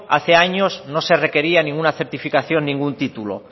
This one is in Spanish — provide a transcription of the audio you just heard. hace años no se requería ninguna certificación ningún título